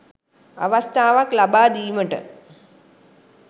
අවස්ථාවක් ලබා දීමට